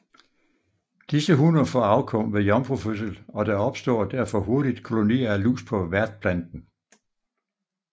Disse hunner får afkom ved jomfrufødsel og der opstår derfor hurtigt kolonier af lus på værtplanten